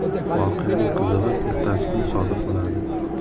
Voqeaning qizig‘i ertasi kuni sodir bo‘ladi.